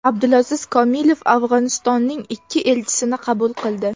Abdulaziz Komilov Afg‘onistonning ikki elchisini qabul qildi.